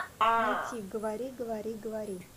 найти говори говори говори